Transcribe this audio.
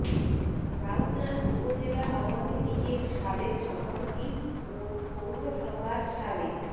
রাউজান উপজেলা আওয়ামী লীগের সাবেক সভাপতি ও পৌরসভার সাবেক